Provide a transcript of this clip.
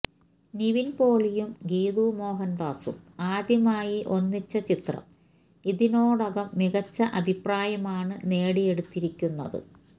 നിവിന്പോളിയും ഗീതു മോഹന്ദാസും ആദ്യമായി ഒന്നിച്ച ചിത്രം ഇതിനോടകം മികച്ച അഭിപ്രായമാണ് നേടിയെടുത്തിരിക്കുന്നത്